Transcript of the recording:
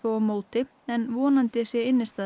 á móti en vonandi sé